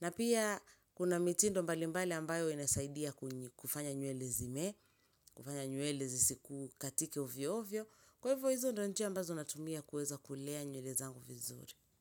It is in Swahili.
Na pia kuna mitindo mbalimbali ambayo inasaidia kwenye kufanya nywele zimee, kufanya nywele zisikukatike hovyo hovyo. Kwa hivyo hizo ndio njia ambazo natumia kuweza kulea nywele zangu vizuri.